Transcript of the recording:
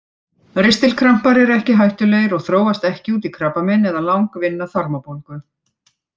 Ristilkrampar eru ekki hættulegir og þróast ekki út í krabbamein eða langvinna þarmabólgu.